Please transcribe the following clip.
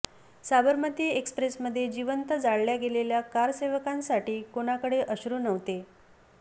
साबरमती एक्सप्रेसमध्ये जिवंत जाळल्या गेलेल्या कारसेवकांसाठी कोणाकडे अश्रू नव्हते